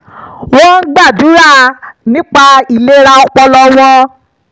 wọ́n ń gbàdúrà nípa ìlera ọpọlọ wọn